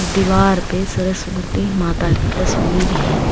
दीवार पे सरस्वती माता की तस्वीर है।